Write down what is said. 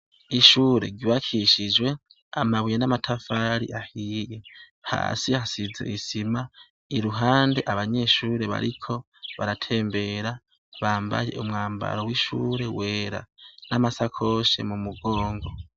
Ishure ryubakishijwe amabuye n' amatafari ahiye hasi hasize isima iruhande abanyeshure bariko baratembera bambaye umwambaro w' ishure wera n' amasakoshe mumugongo.